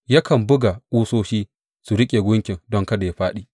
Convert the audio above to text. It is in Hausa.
Yakan buga ƙusoshi su riƙe gunkin don kada yă fāɗi.